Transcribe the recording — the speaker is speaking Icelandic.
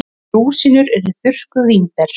Rúsínur eru þurrkuð vínber.